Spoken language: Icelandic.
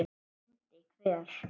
BÓNDI: Hver?